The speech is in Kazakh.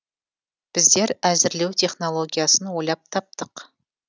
біздер әзірлеу технологиясын ойлап таптық